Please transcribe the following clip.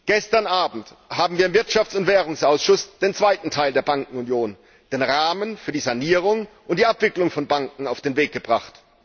Gestern Abend haben wir im Ausschuss für Wirtschaft und Währung den zweiten Teil der Bankenunion, den Rahmen für die Sanierung und die Abwicklung von Banken, auf den Weg gebracht.